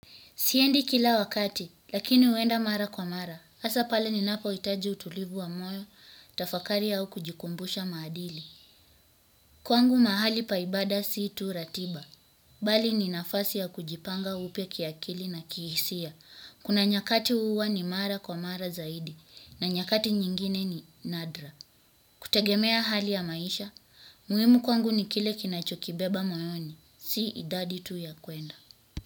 Siendi kila wakati, lakini huenda mara kwa mara. Hasa pale ninapohitaji utulivu wa moyo, tafakari au kujikumbusha maadili. Kwangu mahali pai bada si tu ratiba. Bali ni nafasi ya kujipanga upya kiakili na kihisia kuna nyakati huwa ni mara kwa mara zaidi, na nyakati nyingine ni nadra. Kutegemea hali ya maisha, muhimu kwangu ni kile kinachokibeba moyoni, si idadi tu ya kuenda.